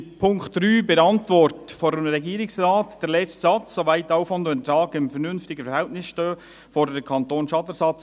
Zum Punkt 3 in der Antwort des Regierungsrates, letzter Satz: Soweit Aufwand und Ertrag in einem vernünftigen Verhältnis stehen, fordert der Kanton Schadenersatz.